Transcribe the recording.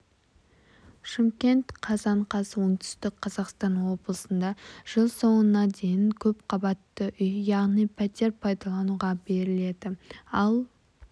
шымкент қазан қаз оңтүстік қазақстан облысында жыл соңына дейін көпқабатты үй яғни пәтер пайдалануға беріледі ал